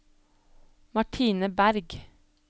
Martine Bergh